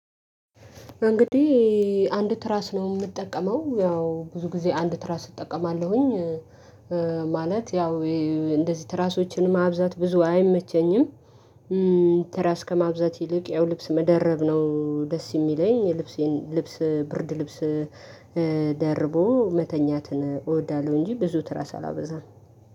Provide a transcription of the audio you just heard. እንግዲህ አንድ ትራስ ነው እምጠቀመው ያው ብዙ ጊዜ አንድ ትራስ እጠቀማለሁኝ። ማለት ያው እንደዚህ ትራሶችን ማብዛት ብዙ አይመቸኝም። ትራስ ከማብዛት ይልቅ ያው ልብስ መደረብ ነው ደስ እሚለኝ ልብሴን ልብስ ብርድ ልብስ ደርቦ መተኛትን እወዳለሁ። እንጂ ብዙ ትራስ አላበዛም።